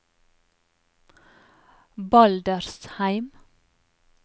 Baldersheim